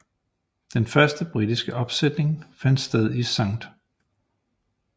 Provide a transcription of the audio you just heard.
Den første britiske opsætning fandt sted i St